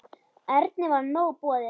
Erni var nóg boðið.